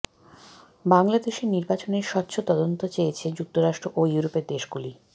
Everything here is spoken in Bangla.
বাংলাদেশের নির্বাচনের স্বচ্ছ তদন্ত চেয়েছে যুক্তরাষ্ট্র ও ইউরোপের দেশগুলো